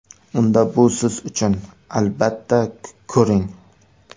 Unda bu siz uchun, albatta, ko‘ring!.